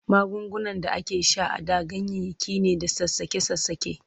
Magungunan da ake sha a da ganyayyaki ne da sassaƙe-sassaƙe.